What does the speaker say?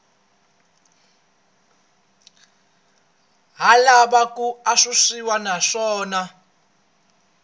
ha lava ku antswisiwa naswona